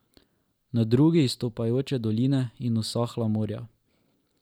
Na drugi izstopajoče doline in usahla morja.